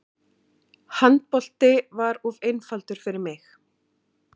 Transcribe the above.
Handbolti var of einfaldur fyrir mig.